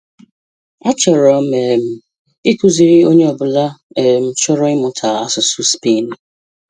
A chọrọ um m ikuziri Onye Ọ bụla um chọrọ imuta asụsụ spainuu.